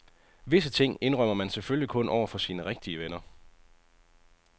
Visse ting, indrømmer man selvfølgelig kun over for sine rigtige venner.